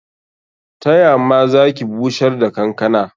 Ta ya ma za ki bushar da kankana?